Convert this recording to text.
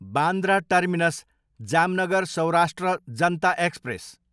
Bandra terminus, Jamnagar Saurashtra Janta express